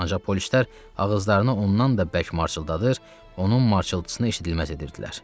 Ancaq polislər ağızlarını ondan da bərk marçıldadır, onun marçıltısını eşidilməz edirdilər.